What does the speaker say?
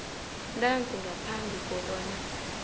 ntanzi ngaphambi kobana